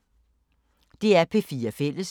DR P4 Fælles